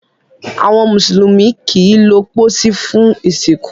Àwọn mùsùlùmí kìí lo posí fún ìsìnkú